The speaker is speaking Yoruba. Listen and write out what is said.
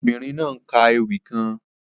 The woaman is reciting a poem